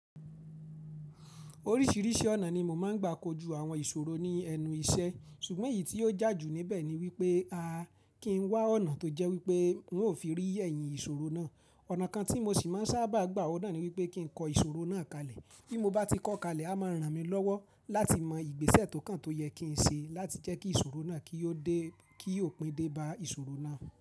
Oríṣìíríṣìí ọ̀nà ni mo máa ń gbà kojú àwọn ìṣòro ní ẹnu iṣẹ́ ṣùgbọ́n èyí tí ó jà jù níbẹ̀ ni wípé a kí ń wá ọ̀nà tó jẹ́ wípé n ó fi rí ẹ̀yìn ìṣòro náà. Ọ̀nà kan tí mo sì máa ń sábà gbà ọ̀nà ni wípé kí n kọ́ ìṣòro náà kalẹ̀. Bí mo bá ti kọ́ kalẹ̀, a máa ràn mí lọ́wọ́ láti mọ ìgbésẹ̀ tókàn tó yẹ kí n ṣe láti jẹ́ kí ìṣòro náà kí ó dé, kí ó pín dé bá ìṣòro náà.